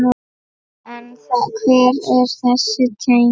En hver eru þessi tengsl?